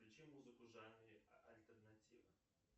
включи музыку в жанре альтернатива